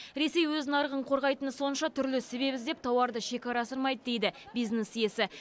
ресей өз нарығын қорғайтыны сонша түрлі себеп іздеп тауарды шекара асырмайды дейді бизнес иесі